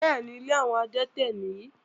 Bẹ́ẹ̀ni, ilé àwọn adẹ́tẹ̀ nìyí.